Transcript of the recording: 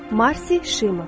Marci Shimoff.